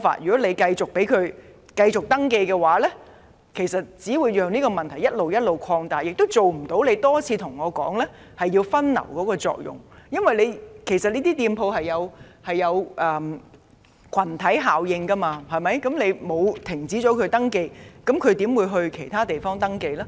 如果繼續准許更多商店登記，只會讓問題不斷擴大，亦無法達致當局多次提到的分流作用，因為開設這些商店形成群體效應，如果不停止接受商店登記，他們又怎會到其他地方營業呢？